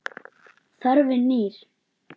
Þörfin knýr.